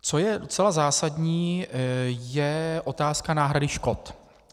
Co je docela zásadní, je otázka náhrady škod.